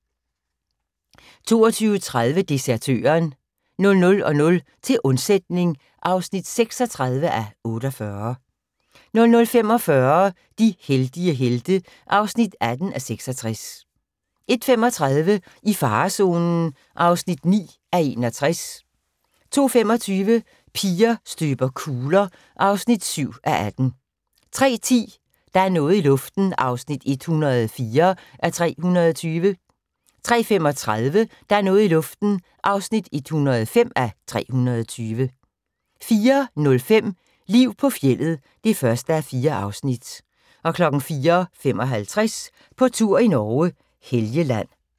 22:30: Desertøren 00:00: Til undsætning (36:48) 00:45: De heldige helte (18:66) 01:35: I farezonen (9:61) 02:25: Piger støber kugler (7:18) 03:10: Der er noget i luften (104:320) 03:35: Der er noget i luften (105:320) 04:05: Liv på fjeldet (1:4) 04:55: På tur i Norge: Helgeland